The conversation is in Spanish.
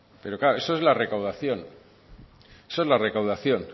pero claro eso es la recaudación